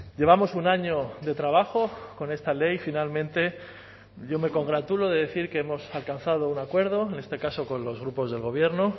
llevamos un año de trabajo con esta ley finalmente yo me congratulo de decir que hemos alcanzado un acuerdo en este caso con los grupos del gobierno